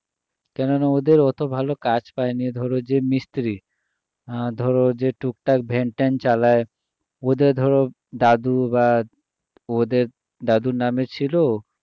কেননা ওদের অত ভালো কাজ পায়নি ধরো যে মিস্ত্রী ধরো যে টুকটাক ভ্যান ট্যান চালায় ওদের ধরো দাদু বা ওদের দাদুর নামে ছিল